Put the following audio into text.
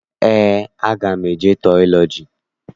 Eé, aga m eje tiọlọji.